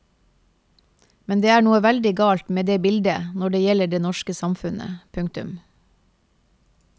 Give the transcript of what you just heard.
Men det er noe veldig galt med det bildet når det gjelder det norske samfunnet. punktum